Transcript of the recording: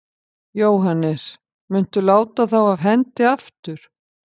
Jóhannes: Muntu láta þá af hendi aftur?